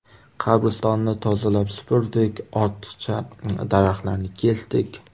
Qabristonni tozalab supurdik, ortiqcha daraxtlarni kesdik.